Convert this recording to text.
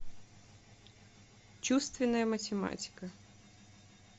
чувственная математика